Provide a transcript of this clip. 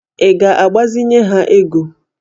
Ị ga-agbazinye ha ego?